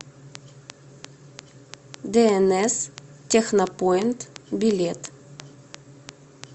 дээнэс технопоинт билет